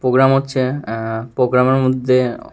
programme হচ্ছে আঃ প্রোগ্রামের মধ্যে--